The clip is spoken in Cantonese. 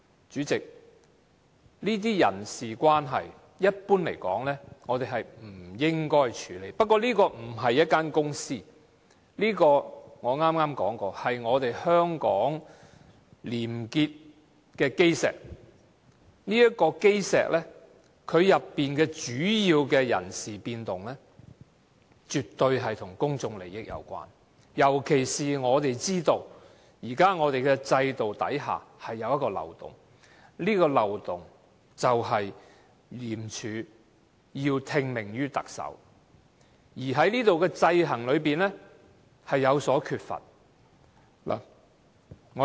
主席，一般而言，這些人事關係，我們是不應該處理的，不過，這並不是一間公司，而正如我剛才已經說過，這是香港廉潔的基石，這個基石裏面的主要人事變動，絕對跟公眾利益有關，尤其是我們知道，現時制度之下有一個漏洞，而這個漏洞便是廉署要聽命於特首，而當中的制衡卻有所缺乏。